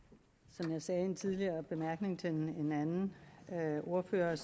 som jeg sagde i en tidligere bemærkning til en anden ordfører